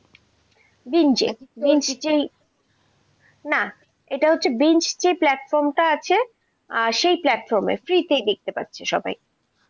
বিন যে বিঞ্জ যেই, না এটা হচ্ছে বিন যে platform টা আছে সেই platform এ free তেই দেখতে পাচ্ছে সবাই,